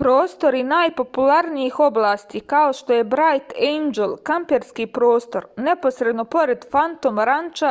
prostori najpopularnijih oblasti kao što je brajt ejndžel kamperski prostor neposredno pored fantom ranča